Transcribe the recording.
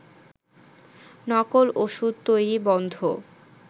নকল ওষুধ তৈরি বন্ধ